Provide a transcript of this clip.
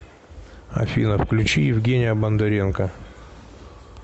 афина включи евгения бондаренко